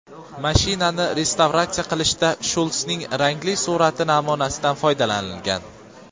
Mashinani restavratsiya qilishda Shulsning rangli surati namunasidan foydalanilgan.